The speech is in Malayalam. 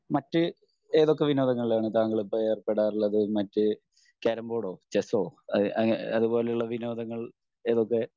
മറ്റ് ഏതൊക്കെ വിനോദങ്ങളിലാണ് താങ്കൾ ഇപ്പൊ ഏർപ്പെടാറുള്ളത്? മറ്റ് കാരംബോർഡൊ ചെസ്സോ അതുപോലെയുള്ള വിനോദങ്ങൾ ഏതൊക്കെ